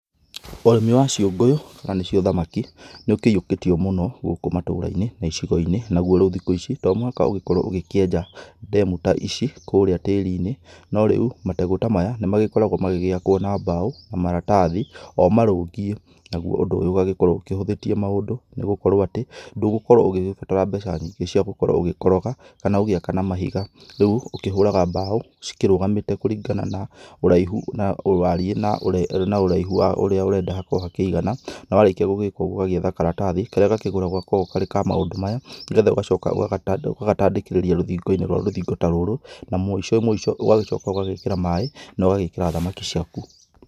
Ũrĩmi wa ciũngũyũ, nanĩcio thamaki, nĩũkĩiyũkĩtio mũno gũkũ matũra-inĩ na icigo-inĩ. Naguo rĩu thikũ ici, tomũhaka ũgĩkorwo ũgĩkĩenja demu ta ici kũrĩa tĩrinĩ. No rĩu, mategũ ta maya nĩmagĩkoragwo magĩgĩakwo na mbaũ na maratathi, o marũngiĩ. Naguo ũndũ ũyũ ũgagĩkorwo ũhũthĩtie maũndũ, nĩgũkorwo atĩ, ndũgũkorwo ũgĩgĩbatara mbeca nyingĩ cia gũkorwo ũgĩkoroga, kana ũgĩaka na mahiga. Rĩu ũkĩhũraga mbaũ cĩkĩrũgamĩte kũringana na ũraihu na warie, na na ũraihu wa ũrĩa ũrenda hakorwo hakĩigana, na warĩkia gũgĩka ũguo ũgagĩetha karatathi karĩa gakĩgũragwo gakoragwo karĩ ka maũndũ maya. Nĩgetha ũgacoka ũgagatandĩkĩrĩria rũthingo-inĩ rwa rũthingo ta rũrũ na mũico mũico, ũgagĩcoka ũgagĩkĩra maĩ, na ũgagĩkĩra thamaki ciaku.